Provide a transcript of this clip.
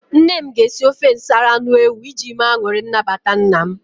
Nne m ga-esi ofe nsala anụ ewu iji mee anụrị nnabata nna m.